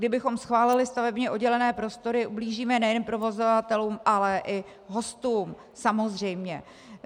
Kdybychom schválili stavebně oddělené prostory, ublížíme nejen provozovatelům, ale i hostům samozřejmě.